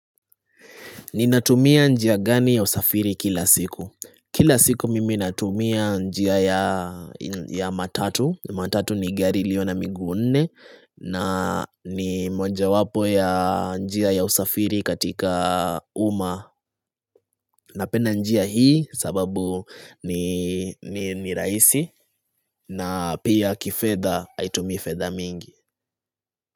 Ninatumia njia gani ya usafiri kila siku? Kila siku mimi natumia njia ya matatu matatu ni gari ilio na miguu nne, na ni moja wapo ya njia ya usafiri katika uma Napenda njia hii sababu ni rahisi na pia kifedha haitumii fedha mingi.